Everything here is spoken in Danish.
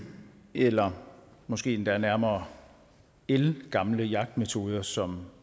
eller måske endda nærmere ældgamle jagtmetoder som